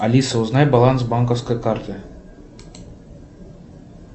алиса узнай баланс банковской карты